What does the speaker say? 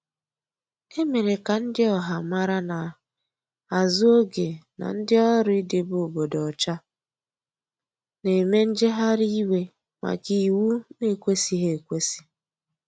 Emere ka ndi ọha mara n'azu oge n' ndi ọrụ idebe obodo ocha n'eme njegharị iwe maka iwụ na ekwesighi ekwesi.